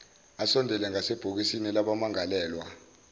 asondele ngasebhokisini labamangalelwa